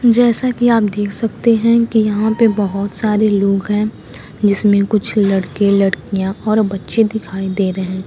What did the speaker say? जैसा कि आप देख सकते हैं कि यहां पे बहुत सारे लोग हैं जिसमें कुछ लड़के लड़कियां और बच्चे दिखाई दे रहे हैं।